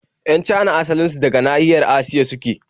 Yan Cana asalin su daga nahiyar Asiya suke